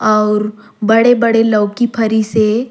और बड़े-बड़े लउकी फरी से।